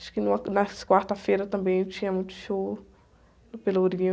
Acho que numa, nas quartas-feiras também tinha muito show no Pelourinho.